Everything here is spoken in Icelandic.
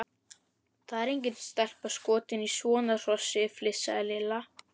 Það er engin stelpa skotin í svona hrossi! flissaði Lilla.